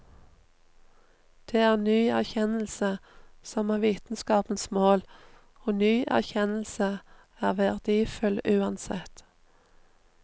Det er ny erkjennelse som er vitenskapens mål, og ny erkjennelse er verdifull uansett.